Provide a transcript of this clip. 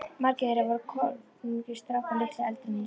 Margir þeirra voru kornungir strákar, litlu eldri en ég sjálfur.